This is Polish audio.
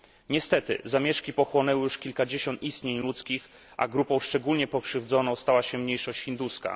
Niestety zamieszki pochłonęły już kilkadziesiąt istnień ludzkich, a grupą szczególnie pokrzywdzoną stała się mniejszość hinduska.